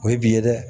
O ye bi ye dɛ